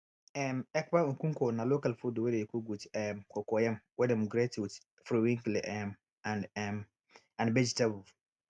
um ekpan nkukwo na local food wey dey cook with um cocoyam wey dem grate with periwinkle um and um and vegetable